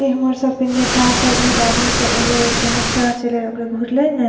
इ हमर सब के नेता सब बहुत आदमी सब एले एते ने चर्च एले रहे ओकरे घूरले ने --